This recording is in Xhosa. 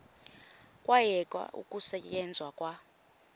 kwayekwa ukusetyenzwa kwa